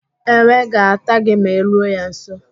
Enwe ga-ata gị ma I ruo ya nso.